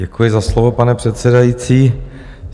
Děkuji za slovo, pane předsedající.